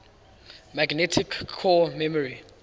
magnetic core memory